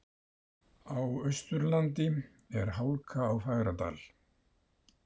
Á Austurlandi er hálka á Fagradal